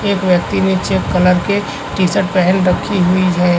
एक व्यक्ति ने चेक कलर के टी शर्ट पहन रखी हुई है।